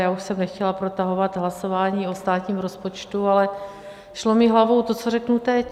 Já už jsem nechtěla protahovat hlasování o státním rozpočtu, ale šlo mi hlavou to, co řeknu teď.